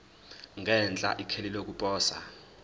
ngenhla ikheli lokuposa